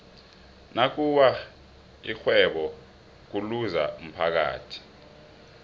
nakuwa ixhwebo kuluza umphathi